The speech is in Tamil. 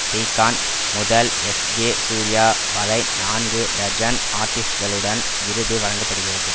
ஸ்ரீகாந்த் முதல் எஸ்ஜே சூர்யா வரை நான்கு டஜன் ஆர்ட்டிஸ்டுகளுடன் விருது வழங்க படுகிறது